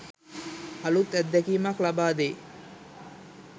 අලූත් අත්දැකීමක් ලබාදෙයි.